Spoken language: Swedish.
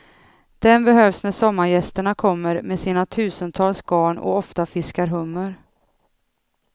Den behövs när sommargästerna kommer med sina tusentals garn och ofta fiskar hummer.